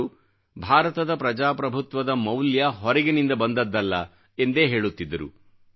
ಅವರು ಭಾರತದ ಪ್ರಜಾಪ್ರಭುತ್ವದ ಮೌಲ್ಯ ಹೊರಗಿನಿಂದ ಬಂದದ್ದಲ್ಲ ಎಂದೇ ಹೇಳುತ್ತಿದ್ದರು